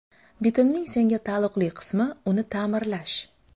Bitimning senga taalluqli qismi uni ta’mirlash.